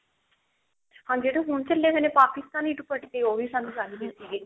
ਹਾਂਜੀ ਜਿਹੜੇ ਹੁਣ ਚੱਲੇ ਹੋਏ ਨੇ ਪਾਕਿਸਤਾਨੀ ਦੁਪੱਟੇ ਉਹ ਵੀ ਸਾਨੂੰ ਚਾਹੀਦੇ ਸੀਗੇ